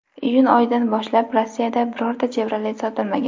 Iyun oyidan boshlab Rossiyada birorta Chevrolet sotilmagan.